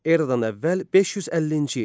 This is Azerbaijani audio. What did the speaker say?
Eradan əvvəl 550-ci il.